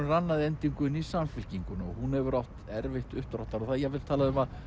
rann að endingu inn í Samfylkinguna og hún hefur átt erfitt uppdráttar og jafnvel talað um að